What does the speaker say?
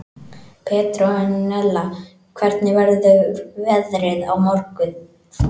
Petrónella, hvernig verður veðrið á morgun?